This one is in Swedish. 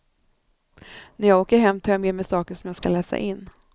När jag åker hem tar jag med mig saker som jag ska läsa in.